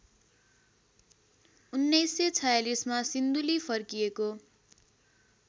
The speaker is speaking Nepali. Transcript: १९४६ मा सिन्धुली फर्किएको